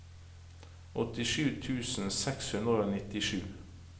åttisju tusen seks hundre og nittisju